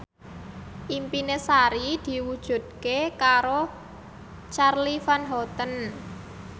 impine Sari diwujudke karo Charly Van Houten